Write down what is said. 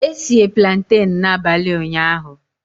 E sie plantain n'abalị ụnyahụ